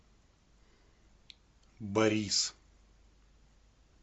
борис